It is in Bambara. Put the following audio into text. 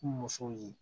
Kun musow ye